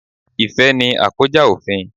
Ìfẹ́ ni à kọ́ já òfin.